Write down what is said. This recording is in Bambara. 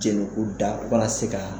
Jɛnɛ ku da u kana se ka.